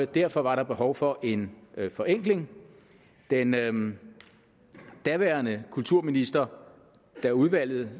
derfor var der behov for en forenkling den daværende kulturminister da udvalget